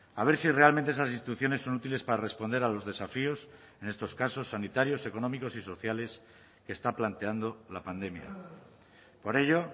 a ver si realmente esas instituciones son útiles para responder a los desafíos en estos casos sanitarios económicos y sociales que está planteando la pandemia por ello